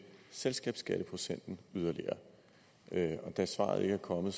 selskabsskatteprocenten yderligere da svaret ikke er kommet